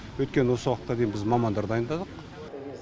өйткені осы уақытқа дейін біз мамандар дайындадық